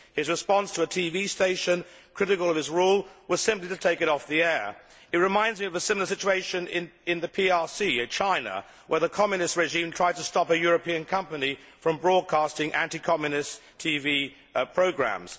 His response to a TV station critical of his rule was simply to take it off the air. It reminds me of a similar situation in the PRC China where the Communist regime tried to stop a European company from broadcasting anti Communist TV programmes.